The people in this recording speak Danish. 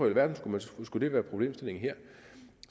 alverden skulle det være problemstillingen her